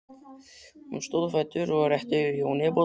Hún stóð á fætur og rétti Jóni bollann.